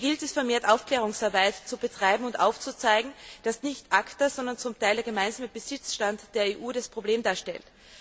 Hier gilt es, vermehrt Aufklärungsarbeit zu betreiben und aufzuzeigen, dass nicht ACTA, sondern zum Teil der gemeinsame Besitzstand der EU das Problem darstellt.